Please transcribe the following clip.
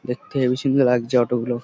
দেখতে হেবি সুন্দর লাগছে অটো গুলো।